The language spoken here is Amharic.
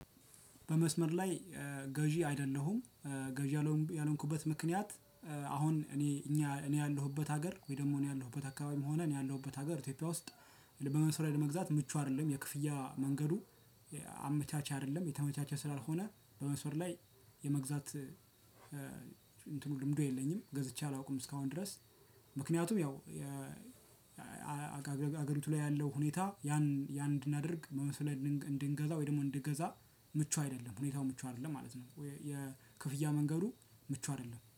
በመስመር ላይ ገዢ አይደለሁም። ገዢ ያልሆንኩበት ምክንያት አሁን እኔ እኛ እኔ ያለሁበት ሀገር ወይ ደግሞ እኔ ያለሁበት አካባቢም ሆኔ ያለሁበት ሀገር ኢትዮጵያ ውስጥ። በመስመር ላይ ለመግዛት ምቹ አይደለም የክፍያ መንገዱ። አመቻቺ አይደለም የተመቻቸ ስላልሆነ በመስመር ላይ የመግዛት እንትኑ ልምዱ የለኝም ገዝቼ አላውቅም እስካሁን ድረስ። ምክንያቱም ያው ሀገሪቱ ላይ ያለው ሁኔታ ያን ያን እንድናደርግ በመስመር ላይ እንድንገዛ ወይ ደግሞ እንድገዛ ምቹ አይደለም ሁኔታው ምቹ አይደለም ማለት ነው። የክፍያ መንገዱ ምቹ አይደለም